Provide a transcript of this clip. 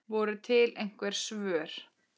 Voru til einhver svör?